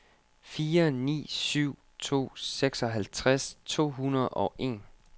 fire ni syv to seksoghalvtreds to hundrede og en